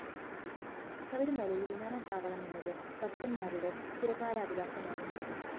ശബരിമലയില്‍ വിമാനത്താവളമെന്നത് ഭക്തന്‍മാരുടെ ചിരകാല അഭിലാഷമാണ്